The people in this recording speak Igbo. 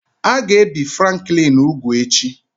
A ga-ebi Franklin úgwù echi